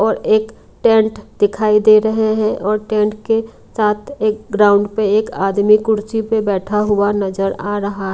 और एक टेंट दिखाई दे रहे है और टेंट के साथ एक ग्राउंड पे एक आदमी कुर्सी पे बैठा हुआ नजर आ रहा--